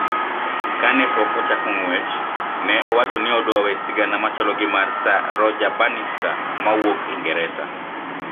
Ka ne pok ochako ng`wech, ne owacho ni odwa we sigana machalo gi mar sir Roger Bannister ma wuok Ingresa